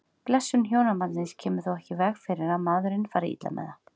Blessun hjónabandsins kemur þó ekki í veg fyrir að maðurinn fari illa með það.